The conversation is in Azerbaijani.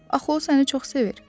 Axı o səni çox sevir.